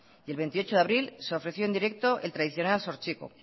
y el veintiocho de abril se ofreció en directo el tradicional zortziko